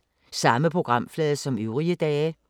Samme programflade som øvrige dage